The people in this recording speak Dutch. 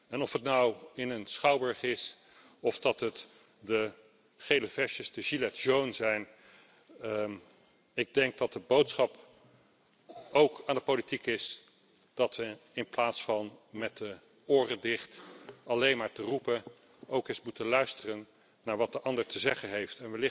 En of het nou in een schouwburg is of de gele hesjes zijn ik denk dat de boodschap aan de politiek is dat we, in plaats van met de oren dicht alleen maar te roepen, ook eens moeten luisteren naar wat de ander te zeggen heeft.